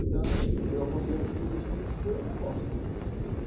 Então, eu aconselho a você investir no seu negócio.